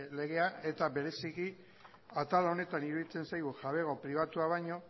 legea eta bereziki atal honetan iruditzen zaigu jabego pribatua baino